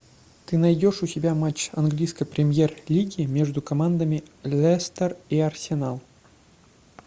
ты найдешь у себя матч английской премьер лиги между командами лестер и арсенал